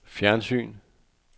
fjernsyn